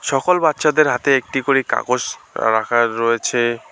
সকল বাচ্চাদের হাতে একটি করে কাগস রাখা রয়েছে।